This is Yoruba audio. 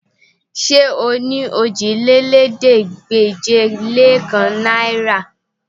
Ṣé o ní òjìlélẹ́ẹ̀ẹ́dégbèje-lé-kan náìrà?